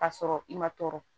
Ka sɔrɔ i ma tɔɔrɔ